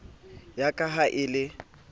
ya ka ha e le